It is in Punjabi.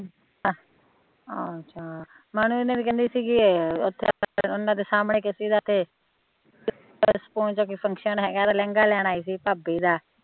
ਅੱਛਾ ਮਾਨੋ ਹੋਣੀ ਵੀ ਕਹਿੰਦੀ ਸੀਗੀ ਉੱਥੇ ਉਹਨਾਂ ਦੇ ਸਾਹਮਣੇ ਲਹਿੰਗਾ ਲੈਣ ਆਈ ਸੀ ਭਾਬੀ ਦਾ